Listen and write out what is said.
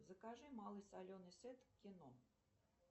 закажи малый соленый сет кино